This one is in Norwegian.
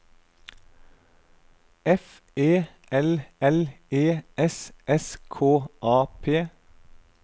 F E L L E S S K A P